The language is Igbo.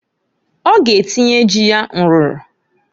Ọ g'atinye ji ya nrụrụ.